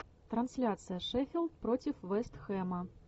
трансляция шеффилд против вест хэма